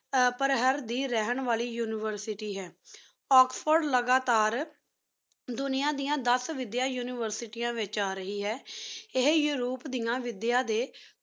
ਪਰ ਹੇਅਰ ਦੀ ਰਹਨ ਵਾਲੀ University ਹੈ Oxford ਲੇਘਾ ਤਾਰ ਦੁਨੇਯਾਂ ਦਯਾਨ ਦਸ ਵਾਦੇਯਾਂ University ਵੇਚ ਆਰਹੀ ਅਹਿਨ ਏਹੀ ਜੀਰਾ ਰੂਪ ਵੇਦੇ ਡੀ